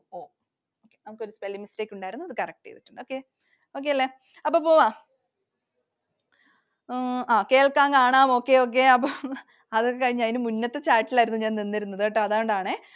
ഒരു spelling mistake ഉണ്ടായിരുന്നു. അത് correct ചെയ്തു. Okay. Okay അല്ലെ? അപ്പൊ പോകാം. എഹ് ആ കേൾക്കാം, കാണാം, Okay. Okay. അപ്പൊ അതൊക്കെ കഴിഞ്ഞു അതിൻറെ മുന്നത്തെ chat ൽ ആയിരുന്നു ഞാൻ നിന്നിരുന്നത് ട്ടോ. അതോണ്ടാണെ.